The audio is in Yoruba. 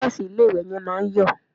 Tàìsì ilé-ìwẹ̀ yẹn máa ń yọ̀